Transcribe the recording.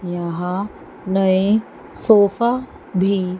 यहां नए सोफा भी--